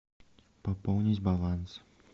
пополнить баланс